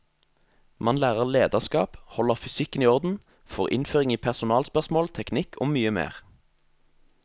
Man lærer lederskap, holder fysikken i orden, får innføring i personalspørsmål, teknikk og mye mer.